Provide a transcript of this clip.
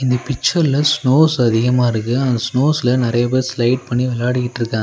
இந்த பிச்சர்ல ஸ்னோஸ் அதிகமா இருக்கு அந்த ஸ்னோஸ்ல நெறைய பேர் ஸ்லைட் பண்ணி வெளாடிகிட்ருக்காங்க.